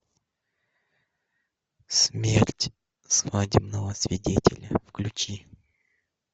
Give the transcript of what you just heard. смерть свадебного свидетеля включи